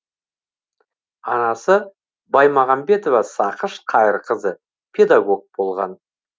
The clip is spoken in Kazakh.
анасы баймағамбетова сақыш қайырқызы педагог болған